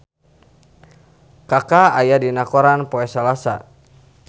Kaka aya dina koran poe Salasa